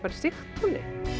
Sigtúni